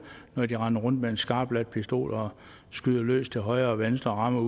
når de render rundt med en skarpladt pistol og skyder løs til højre og venstre og rammer